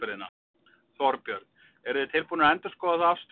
Þorbjörn: Eruð þið tilbúnir að endurskoða þá afstöðu?